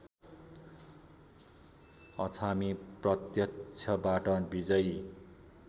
अछामी प्रत्यक्षबाट विजयी